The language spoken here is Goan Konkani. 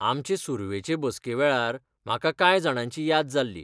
आमचे सुरवेचे बसके वेळार म्हाका कांय जाणांची याद जाल्ली.